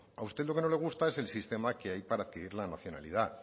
a usted lo que no le gusta es el sistema que hay para pedir la nacionalidad